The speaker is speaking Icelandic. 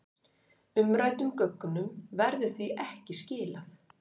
Umræddum gögnum verður því ekki skilað